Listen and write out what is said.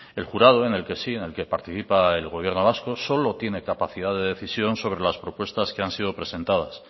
el jurado en el que sí en el que participa el gobierno vasco solo tiene capacidad de decisión sobre las propuestas que han sido presentadas